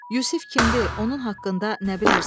Yusif kimdir, onun haqqında nə bilirsiz?